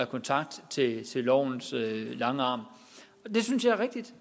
kontakt til lovens lange arm og det synes jeg er rigtigt